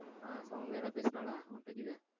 ஆ சௌமியா எல்லாம் பேசுனால உன் கிட்ட எதுவும்?